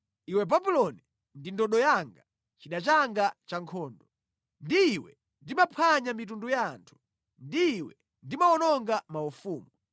“Iwe Babuloni ndi ndodo yanga, chida changa chankhondo. Ndi iwe ndimaphwanya mitundu ya anthu, ndi iwe ndimawononga maufumu,